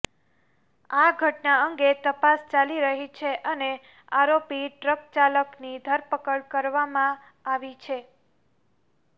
આ ઘટના અંગે તપાસ ચાલી રહી છે અને આરોપી ટ્રક ચાલકની ધરપકડ કરવામાં આવી છે